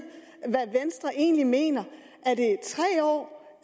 hvad venstre egentlig mener